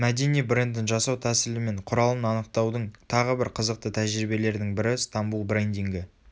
мәдени брендін жасау тәсілі мен құралын анықтаудың тағы бір қызықты тәжірибелердің бірі стамбул брендингі